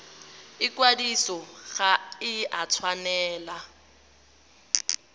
ikwadiso ga e a tshwanela